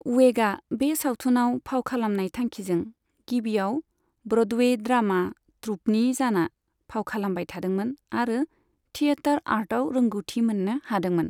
वेगा, बे सावथुनआव फाव खालामनाय थांखिजों, गिबिआव ब्र'डवे ड्रामा ट्रूपनि जाना फाव खालामबाय थादोंमोन आरो थियेटार आर्टआव रोंगौथि मोननो हादोंमोन।